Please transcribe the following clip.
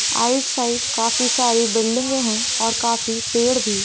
आइट side काफी सारी बिल्डिंगे है और काफी पेड़ भी।